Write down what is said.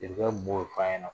Jeliba min b'o fɔ a ɲɛna